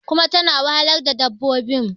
kuma tana wahalar da dabbobin